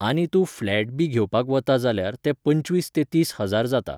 आनी तूं फ्लॅट बी घेवपाक वता जाल्यार ते पंचवीस ते तीस हजार जाता.